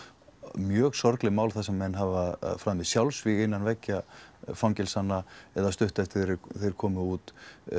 mjög sorgleg mál þar sem menn hafa framið sjálfsvíg innan veggja fangelsanna eða stuttu eftir að þeir komu út